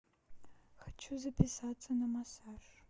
хочу записаться на массаж